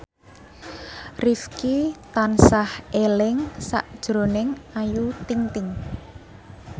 Rifqi tansah eling sakjroning Ayu Ting ting